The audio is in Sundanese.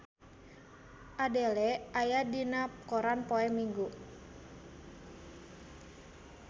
Adele aya dina koran poe Minggon